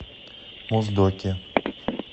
моздоке